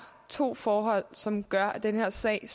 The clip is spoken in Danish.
to forhold som gør at den her sag